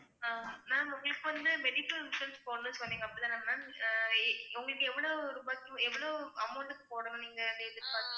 ஆஹ் ma'am உங்களுக்கு இப்ப வந்து medical insurance போடணும்ன்னு சொன்னீங்க அப்படித்தானே ma'am அஹ் உங்களுக்கு எவ்வளவு ரூபாய்க்கு எவ்வளவு amount க்கு போடணும்னு நீங்க எதிர்பார்க்கறீங்க